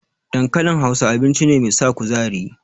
Dankalin Hausa, abinci ne mai sa kuzari.